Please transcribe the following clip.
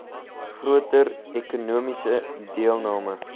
groter ekonomiese deelname